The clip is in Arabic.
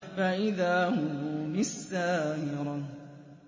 فَإِذَا هُم بِالسَّاهِرَةِ